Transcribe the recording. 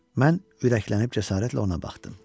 Mən ürəklənib cəsarətlə ona baxdım.